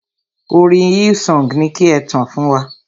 Orin Hillsong ni ki e tàn fún wa.